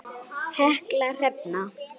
Helga Hrefna.